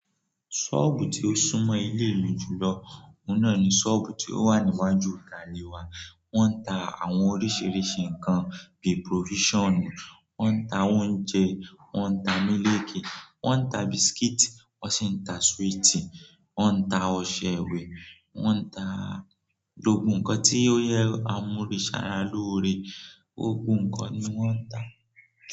Ṣọ́ọ̀bù tí ó sún mọ́ ilé mi jùlọ, òun náà ni ṣọ́ọ̀bù tí ó wà níwájú ìta lè wa. Wọ́n ń ta àwọn oríṣiríṣi nǹkan bí provisionu, wọ́n ń ta oúnjẹ, wọ́n ń ta mílìkì, wọ́n ń ta biscuit, wọ́n sì ń ta sweetie, wọ́n ń ta ọṣẹ ìwẹ̀, wọ́n ń ta logun nǹkan tí ó yẹ àmuni ṣàrà lóore, gbogbo nǹkan ni wọ́n ń ta.